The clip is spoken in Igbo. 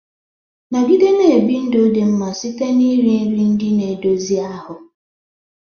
Nọgide na-ebi ndụ dị mma site na iri nri ndị na-edozi ahụ.